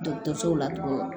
Dɔgɔtɔrɔsow la tugun